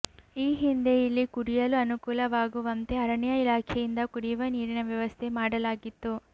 ಈ ಹಿಂದೆ ಇಲ್ಲಿ ಕುಡಿಯಲು ಅನುಕೂಲವಾಗುವಂತೆ ಅರಣ್ಯ ಇಲಾಖೆಯಿಂದ ಕುಡಿಯುವ ನೀರಿನ ವ್ಯವಸ್ಥೆ ಮಾಡಲಾಗಿತ್ತು